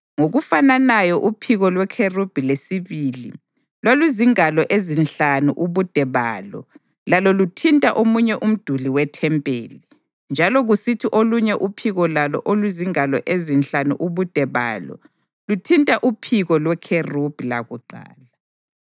Ngokufananayo uphiko lwekherubhi lesibili lwaluzingalo ezinhlanu ubude balo lalo luthinta omunye umduli wethempeli, njalo kusithi olunye uphiko lalo oluzingalo ezinhlanu ubude balo, luthinta uphiko lwekherubhi lakuqala.